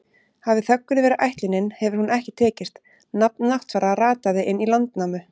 Hafi þöggun verið ætlunin hefur hún ekki tekist, nafn Náttfara rataði inn í Landnámu.